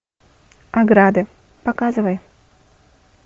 ограда показывай